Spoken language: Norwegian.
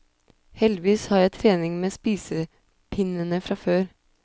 Heldigvis har jeg trening med spisepinnene fra før.